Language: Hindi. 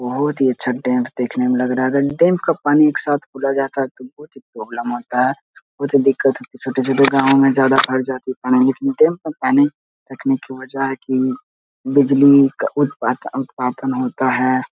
बहुत ही अच्छा टेंट देखने में लग रहा है । अगर डेम का पानी एक साथ खोला जाता तो बहुत ही प्रॉब्लम होता है बहुत ही दिक्कत छोटे-छोटे गॉव में ज्यादा भर जाते पानी लेकिन डेम का पानी रखने की वजह है की बिजली का उत्पाद उत्पादन होता हैं ।